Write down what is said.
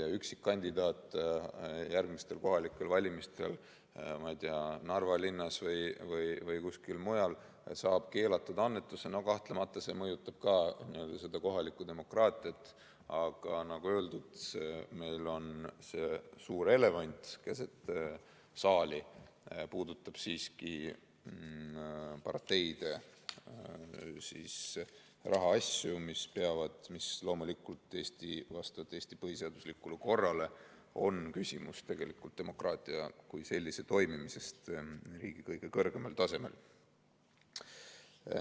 Kui üksikkandidaat järgmistel kohalikel valimistel, ma ei tea, Narva linnas või kuskil mujal saab keelatud annetuse, siis no kahtlemata mõjutab see kohalikku demokraatiat, aga nagu öeldud, meil on suur elevant keset saali, see puudutab siiski parteide rahaasju, mis loomulikult vastavalt Eesti põhiseaduslikule korrale on küsimus demokraatia kui sellise toimimisest riigi kõige kõrgemal tasemel.